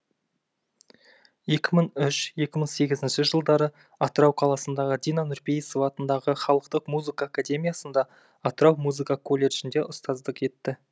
екі мың үш екі мың сегіз жылдары атырау қаласындағы дина нұрпейісова атындағы халықтық музыка академиясында атырау музыка колледжінде ұстаздық етті